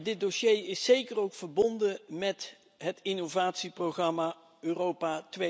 Dit dossier is zeker ook verbonden met het innovatieprogramma Europa